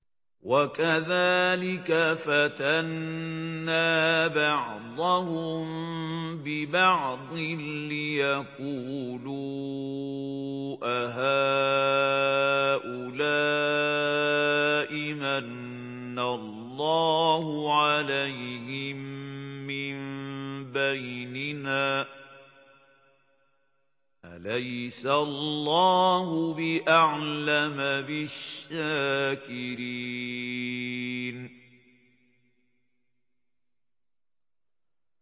وَكَذَٰلِكَ فَتَنَّا بَعْضَهُم بِبَعْضٍ لِّيَقُولُوا أَهَٰؤُلَاءِ مَنَّ اللَّهُ عَلَيْهِم مِّن بَيْنِنَا ۗ أَلَيْسَ اللَّهُ بِأَعْلَمَ بِالشَّاكِرِينَ